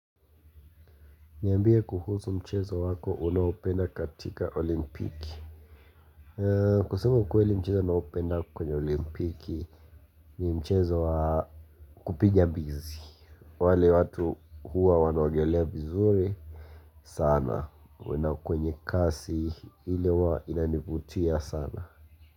Niambie kuhusu mchezo wako unaopenda katika olimpiki kusema ukweli mchezo ninaopenda kwenye olimpiki ni mchezo kupigia bizi wale watu huwa wanaogelea vizuri sana, na kwenye kasi ile huwa inanivutia sana.